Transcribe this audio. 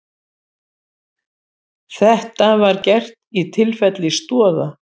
Þetta var gert í tilfelli Stoða